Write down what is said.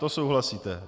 To souhlasíte.